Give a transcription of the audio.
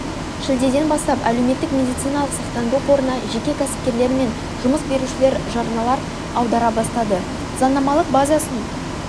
шілдеден бастап әлеуметтік медициналық сақтандыру қорына жеке кәсіпкерлер мен жұмыс берушілер жарналар аудара бастады заңнамалық базасын